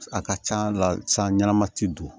A ka c'a la san ɲɛnama ti don